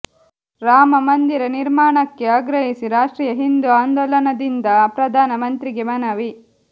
ರಾಮ ಮಂದಿರ ನಿರ್ಮಾಣಕ್ಕೆ ಆಗ್ರಹಿಸಿ ರಾಷ್ಟ್ರೀಯ ಹಿಂದೂ ಆಂದೋಲನದಿಂದ ಪ್ರಧಾನಮಂತ್ರಿಗೆ ಮನವಿ